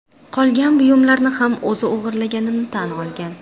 qolgan buyumlarni ham o‘zi o‘g‘irlaganini tan olgan.